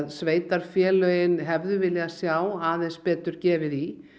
sveitarfélögin hefðu viljað sjá aðeins betur gefið í